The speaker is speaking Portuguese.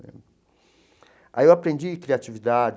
Aí eu aprendi criatividade.